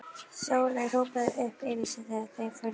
Sóley hrópaði upp yfir sig þegar þau fóru niður þær.